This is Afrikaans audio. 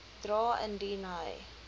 dra indien hy